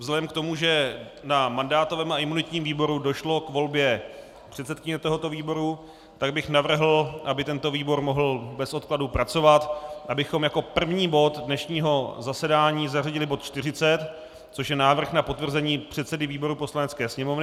Vzhledem k tomu, že na mandátovém a imunitním výboru došlo k volbě předsedkyně tohoto výboru, tak bych navrhl, aby tento výbor mohl bez odkladu pracovat, abychom jako první bod dnešního zasedání zařadili bod 40, což je návrh na potvrzení předsedy výboru Poslanecké sněmovny.